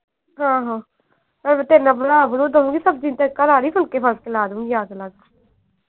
ਆਹੋ ਨਾਲੇ ਤੇਰੇ ਨਾਲ ਬਣਾ ਬਣੂ ਦਊਂਗੀ ਸਬਜ਼ੀ ਯਾਦ ਨਾਲ।